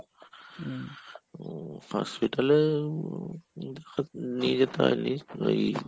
hospital আ~ নিয়ে যেতে হয়নি ওই